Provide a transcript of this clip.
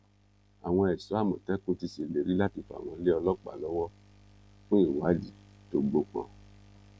àwọn ẹṣọ àmọtẹkùn ti ṣèlérí láti fà wọn lé ọlọpàá lọwọ fún ìwádìí tó gbópọn